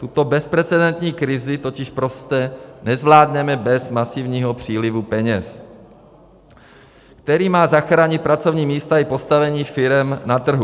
Tuto bezprecedentní krizi totiž prostě nezvládneme bez masivního přílivu peněz, který má zachránit pracovní místa i postavení firem na trhu.